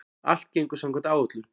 Allt gengur samkvæmt áætlun